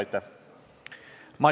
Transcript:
Aitäh!